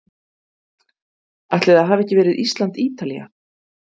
Ætli það hafi ekki verið Ísland- Ítalía